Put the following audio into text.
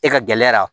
E ka gɛlɛyara